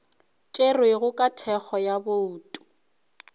tšerwego ka thekgo ya bouto